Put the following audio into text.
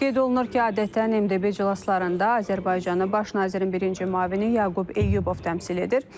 Qeyd olunur ki, adətən MDB iclaslarında Azərbaycanı baş nazirin birinci müavini Yaqub Eyyubov təmsil edir.